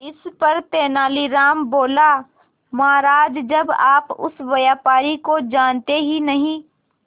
इस पर तेनालीराम बोला महाराज जब आप उस व्यापारी को जानते ही नहीं